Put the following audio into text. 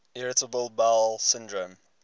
irritable bowel syndrome